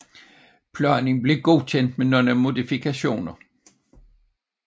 Planen blev godkendt med nogle modifikationer